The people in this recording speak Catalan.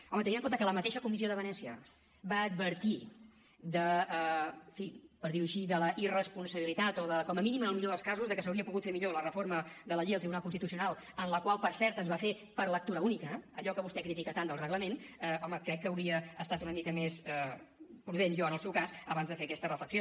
home tenint en compte que la mateixa comissió de venècia va advertir en fi per dir ho així de la irresponsabilitat o com a mínim en el millor dels casos de que s’hauria pogut fer millor la reforma de la llei del tribunal constitucional la qual per cert es va fer per lectura única allò que vostè critica tant del reglament home crec que hauria estat una mica més prudent jo en el seu cas abans de fer aquesta reflexió